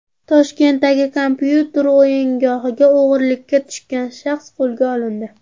Toshkentdagi kompyuter o‘yingohiga o‘g‘irlikka tushgan shaxs qo‘lga olindi.